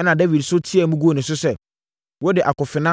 Ɛnna Dawid nso teaam guu ne so sɛ, “Wode, akofena,